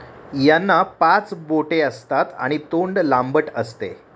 यांना पाच बोटे असतात आणि तोंड लांबट असते.